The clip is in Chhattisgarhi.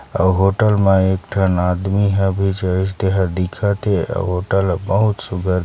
औ होटल म एक ठन आदमी ह दिखत हे अउ होटल ह बहुत सुघर--